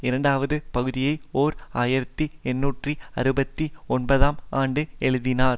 இரண்டாவது பகுதியை ஓர் ஆயிரத்தி எண்ணூற்று அறுபத்தி ஒன்பதாம் ஆண்டு எழுதினார்